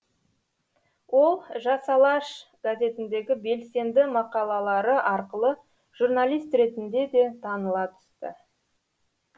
ол жас алаш газетіндегі белсенді мақалалары арқылы журналист ретінде де таныла түсті